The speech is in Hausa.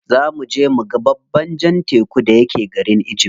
Za muje muga babban jan tekun da yake garin egypt.